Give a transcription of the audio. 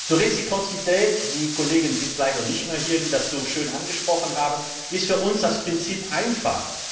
Zur Reziprozität die Kollegen sind leider nicht mehr hier, die das so schön angesprochen haben für uns ist das Prinzip einfach.